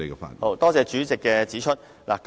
明白，多謝主席提醒。